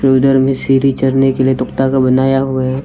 उधर भी सीढ़ी चढ़ने के लिए तख्ता का बनाया हुआ है।